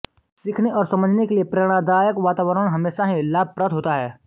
सीखने और समझने के लिए प्रेरणादायक वातावरण हमेशा ही लाभप्रद होता है